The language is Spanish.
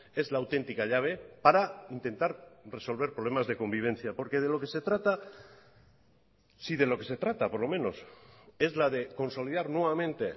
es la auténtica llave para intentar resolver problemas de convivencia porque de lo que se trata si de lo que se trata por lo menos es la de consolidar nuevamente